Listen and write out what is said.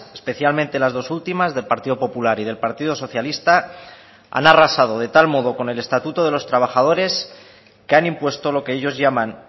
especialmente las dos últimas del partido popular y del partido socialista han arrasado de tal modo con el estatuto de los trabajadores que han impuesto lo que ellos llaman